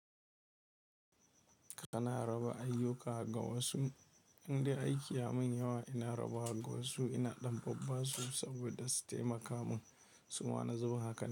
Kana raba ayyuka ga wasu, inde aiki yamin yawa ina rabawa ga wasu. Ina ɗan babbasu saboda su taimaka mun. Su ma na zuba haka.